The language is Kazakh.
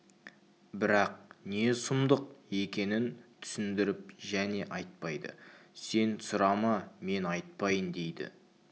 бірақ не сұмдық екенін түсіндіріп және айтпайды сен сұрама мен айтпайын дейді